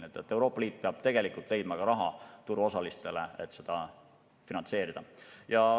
Nii et Euroopa Liit peab leidma turuosalistele raha, et seda finantseerida.